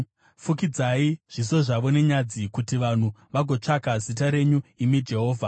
Fukidzai zviso zvavo nenyadzi kuti vanhu vagotsvaka zita renyu, imi Jehovha.